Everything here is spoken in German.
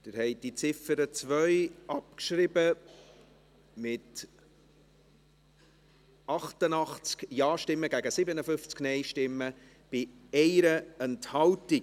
Sie haben diese Ziffer 2 abgeschrieben, mit 88 Ja- gegen 57 Nein-Stimmen bei 1 Enthaltung.